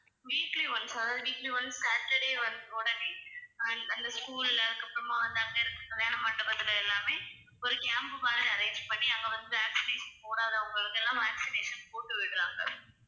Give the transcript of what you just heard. weekly once அதாவது weekly once saturday வந்~ உடனே அந்~ அந்த school ல அதுக்கப்புறமா வந்து அங்க இருக்க கல்யாண மண்டபத்துல எல்லாமே ஒரு camp மாதிரி arrange பண்ணி அங்க வந்து vaccination போடாதவங்களுக்கெல்லாம் vaccination போட்டு விடுறாங்க.